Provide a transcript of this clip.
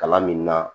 Kalan min na